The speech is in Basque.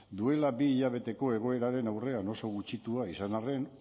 duela bi hilabeteko egoeraren aurrean oso gutxitua izan arren